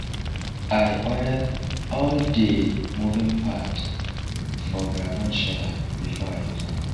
i oil all dey moving part for groundnut sheller before i use am